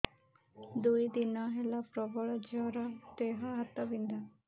ଦୁଇ ଦିନ ହେଲା ପ୍ରବଳ ଜର ଦେହ ହାତ ବିନ୍ଧା